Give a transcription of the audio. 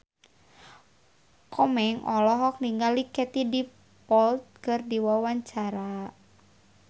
Komeng olohok ningali Katie Dippold keur diwawancara